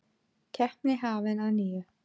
Keppni hafin að nýju